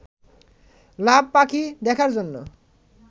লাভ পাখি দেখার জন্য